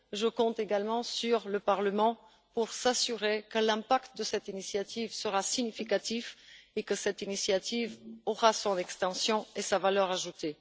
Je compte également sur le Parlement pour s'assurer que l'impact de cette initiative sera significatif et que cette initiative aura son extension et sa valeur ajoutée.